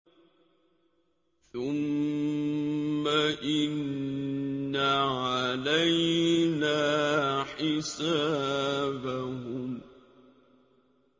ثُمَّ إِنَّ عَلَيْنَا حِسَابَهُم